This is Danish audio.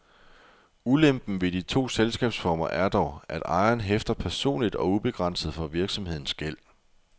Ulempen ved de to selskabsformer er dog, at ejeren hæfter personligt og ubegrænset for virksomhedens gæld.